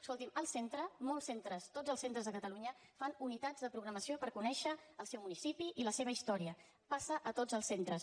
escolti’m el centre molts centres tots els centres de catalunya fan unitats de programació per conèixer el seu municipi i la seva història passa a tots els centres